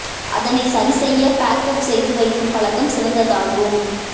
அதனை சரி செய்ய பேக்கப் செய்து வைக்கும் பழக்கம் சிறந்ததாகும்